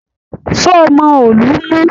Ṣé ó mọ òòlù mú?